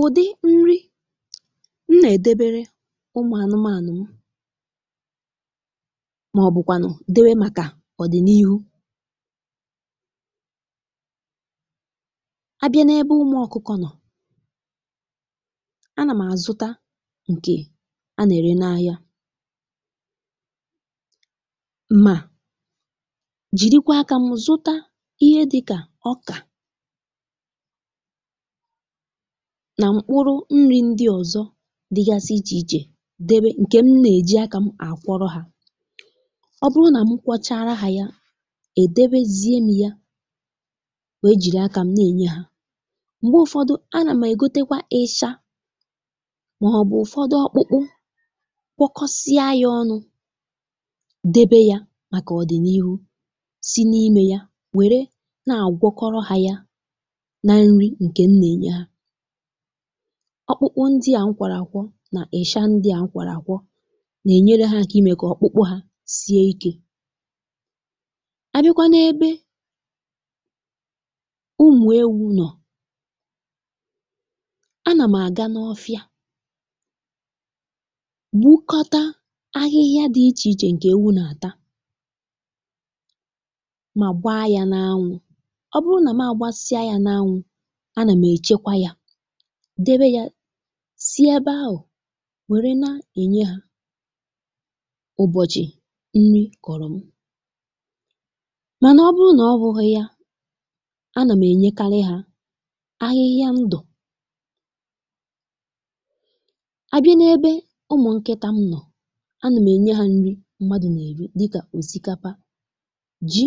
Ụ̀dị nri̇ m nà-èdebere ụmụ̀ ànụmanụ̀ m màọ̀bụ̀kwànụ̀ dewe màkà ọ̀ dị̀ n’ihu a bịa n’ebe ụmụ ọkụkọ̇ nọ̀, a nà m̀ àzụta ǹkè a nà-ère n’ahịa ma jirikwa akȧ m zụta ihe dịkà ọkà nà mkpụrụ nri̇ ndị ọ̀zọ dịgasị ichè ichè debe ǹkè m nà-èji akȧ m àkwọrọ hȧ, ọ bụrụ nà m kwọchara hȧ ya, è debezie m yà wee jìri akȧ m na-ènye hȧ, m̀gbè ụ̀fọdụ, a nà mà ègotekwa isha màọbụ̇ ofọdụ ọkpụkpụ gwọkọsịa ya ọnụ debe ya màkà ọ̀dị̀nihu, si n’imė ya wère na-àgwọkọrọ hȧ ya na nri ǹkè m nà-ènye ha, ọkpụkpụ ndịà nkwàrà àkwọ nà èsha ndịà nkwàrà àkwọ nà-ènyere ha aka imė kà ọkpụkpụ ha sie ikė. Àbịkwa n’ebe ụmụ̀ ewu nọ̀ a nà m̀ àga n’ọfịa wụkọta ahịhịa dị ichè ichè ǹkè ewu nà-àta mà gbaa ya n’anwụ̇, ọ bụrụ nà m àgbasịa ya n’anwụ̇, a nà m èchekwa ya, debe ya, si ebe ahụ̀ nwèrè na-ènye hȧ ụbọ̀chi nri kọ̀rọ̀ m, mànà ọ bụrụ nà ọ bụghị̇ ya anà m ènyekarị hȧ ahịhịa ndụ̀ àbịa n’ebe ụmụ̀ nkịtà m nọ̀, anà m ènye hȧ nri mmadụ̀ nà-èri dịkà òsìkapa, ji,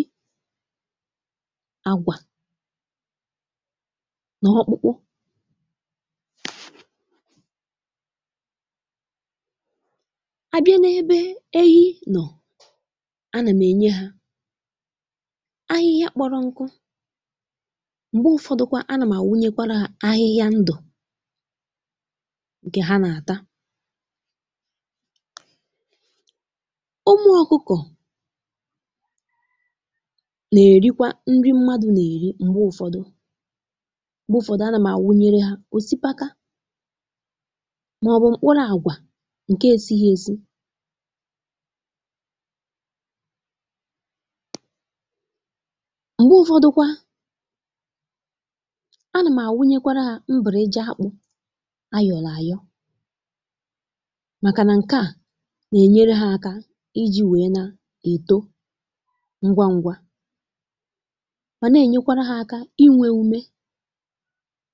àgwà na okpukpu, àbịa n’ebe ehi nọ̀, anà m̀ ènye ha ahịhịa kpọrọ nku, m̀gbè ụ̀fọdụ̀kwa anà m̀ wunyekwara ha ahịhịa ndụ̀ ǹkè ha nà-àta, ụmụ̀ ọkụkọ̇ na-erikwa nri mmadụ̀ na-erikwa, m̀gbè ụ̀fọdụ anàm anwunyere ha òsìkapa màọbụ̀ mkpụrụ àgwà ǹkè esihi esi̇ m̀gbè ụ̀fọdụ̀kwa a nà mà wụnyekwara hȧ mbụ̀ri eji̇ akpụ ayọ̀ro àyọ̇, màkà nà ǹkè à nà-ènyere hȧ aka iji̇ wèe na-èto ngwa ngwa, mànà-ènyekwara hȧ aka inwė ume.